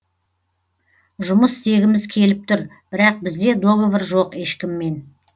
жұмыс істегіміз келіп тұр бірақ бізде договор жоқ ешкіммен